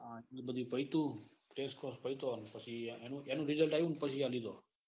બધું પહી તું ટેસ્ટ પેસી પેસી એનું result આવ્યું પછી આલીધો.